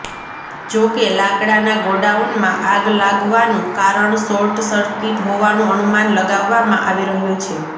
જો કે લાકડાના ગોડાઉનમાં આગ લાગવાનું કારણ શોર્ટસર્કિટ હોવાનું અનુમાન લગાવામાં આવી રહ્યું છે